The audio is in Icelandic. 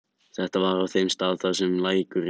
Þetta var á þeim stað þar sem lækurinn breiddi úr sér.